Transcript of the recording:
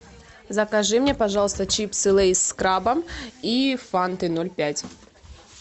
закажи мне пожалуйста чипсы лейз с крабом и фанты ноль пять